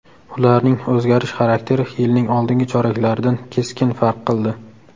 Ularning o‘zgarish xarakteri yilning oldingi choraklaridan keskin farq qildi.